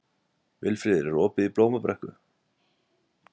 Vilfríður, er opið í Blómabrekku?